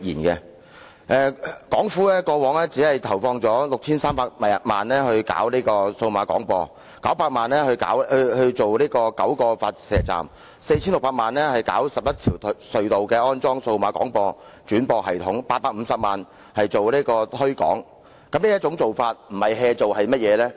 港府過往只投放了 6,300 萬元推行數碼廣播、900萬元興建9個發射站、4,600 萬元在11條隧道安裝數碼廣播轉播系統，以及850萬元進行推廣，這樣不是"做"是甚麼呢？